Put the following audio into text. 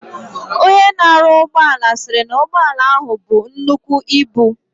Onye na aru ugboala siri na ugboala ahu bu nnukwu ibu.